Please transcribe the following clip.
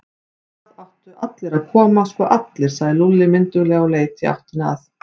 Það áttu allir að koma, sko allir, sagði Lúlli mynduglega og leit í áttina að